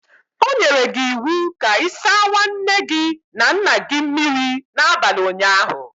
O nyere gi iwu ka i sa nwaanne gi na nna gi mmiri n'abali ụnyaahụ.